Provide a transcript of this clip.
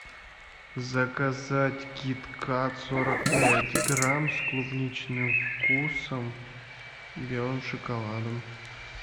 заказать кит кат сорок пять грамм с клубничным вкусом белым шоколадом